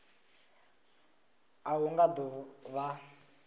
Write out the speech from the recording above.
a hu nga do vha